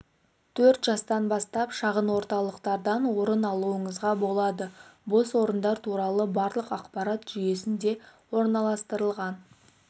төрт жастан бастап шағын орталықтардан орын алуыңызға болады бос орындар туралы барлық ақпарат жүйесінде орналастырылған